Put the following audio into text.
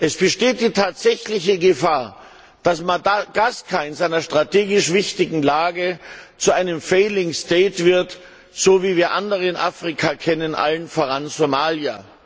Es besteht die tatsächliche Gefahr, dass Madagaskar in seiner strategisch wichtigen Lage zu einem Failed State wird, so wie wir andere in Afrika kennen, allen voran Somalia.